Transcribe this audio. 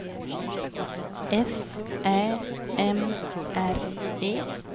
S Ä M R E